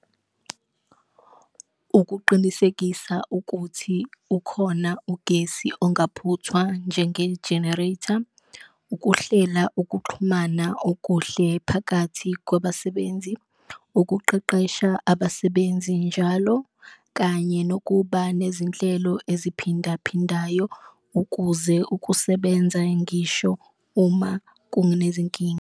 Ukuqinisekisa ukuthi ukhona ugesi ongaphuthwa njenge-generator, ukuhlela ukuxhumana okuhle phakathi kwabasebenzi, ukuqeqesha abasebenzi njalo, kanye nokuba nezinhlelo eziphindaphindayo ukuze ukusebenza ngisho uma kunezinkinga.